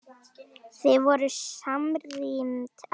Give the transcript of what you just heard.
Þið voruð samrýnd alla tíð.